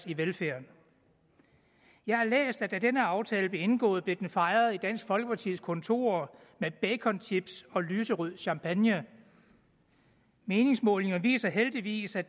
i velfærden jeg har læst at da denne aftale blev indgået blev den fejret i dansk folkepartis kontorer med baconchips og lyserød champagne meningsmålinger viser heldigvis at